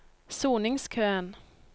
soningskøen